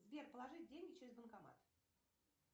сбер положить деньги через банкомат